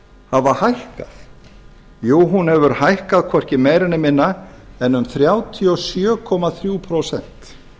hafa hækkað jú hún hefur hækkað hvorki meira né minna en um þrjátíu og sjö komma þrjú prósent